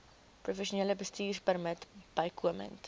professionele bestuurpermit bykomend